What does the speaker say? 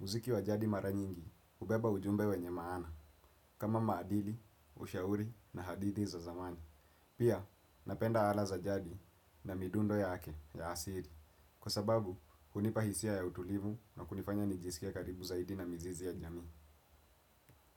Muziki wa jadi mara nyingi ubeba ujumbe wenye maana, kama maadili, ushauri na hadithi za zamani. Pia, napenda ala za jadi na midundo ya ake ya asili. Kwa sababu hunipa hisia ya utulivu na kunifanya nijiskie karibu zaidi na mzizi ya jamii.